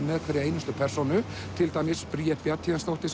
með hverja einustu persónu til dæmis Bríet Bjarnhéðinsdóttir